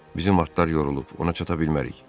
Bizim atlar yorulub, ona çata bilmərik.